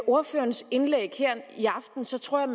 ordførerens indlæg her i aften så tror jeg